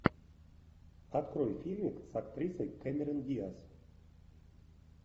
открой фильмик с актрисой кэмерон диаз